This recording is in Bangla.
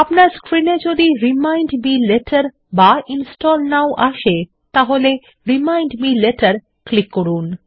আপনার স্ক্রীন এ যদি রিমাইন্ড মে লেটের বা ইনস্টল নও আসে তাহলে রিমাইন্ড মে লেটের ক্লিক করুন